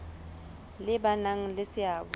le ba nang le seabo